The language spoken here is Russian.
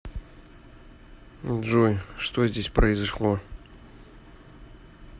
джой что здесь произошло